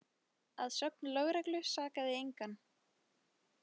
Að sögn lögreglu sakaði engan